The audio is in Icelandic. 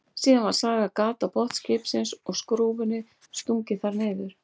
Síðan var sagað gat á botn skipsins og skrúfunni stungið þar niður.